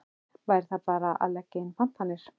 Væri það bara að leggja inn pantanir?